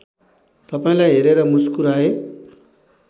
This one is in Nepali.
तपाईँलाई हेरेर मुस्कुराए